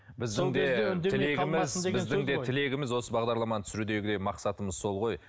біздің де тілегіміз біздің де тілегіміз осы бағдарламаны түсірудегі де мақсатымыз сол ғой